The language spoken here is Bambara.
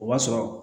O b'a sɔrɔ